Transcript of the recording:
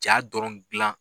Jaa dɔrɔn gilan